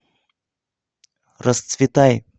расцветай